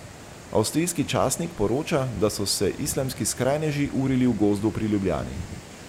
Avstrijski časnik poroča, da so se islamski skrajneži urili v gozdu pri Ljubljani.